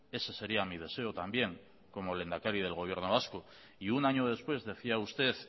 ese sería mi deseo también como lehendakari del gobierno vasco y un año después decía usted